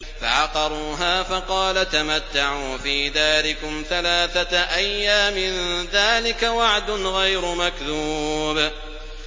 فَعَقَرُوهَا فَقَالَ تَمَتَّعُوا فِي دَارِكُمْ ثَلَاثَةَ أَيَّامٍ ۖ ذَٰلِكَ وَعْدٌ غَيْرُ مَكْذُوبٍ